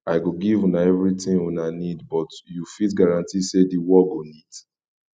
i go give una everything una need but you fit guarantee say the work go neat